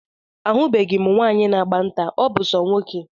Ahubeghi m nwaanyị na-agba nta, ọ bụ so ụmụnwoke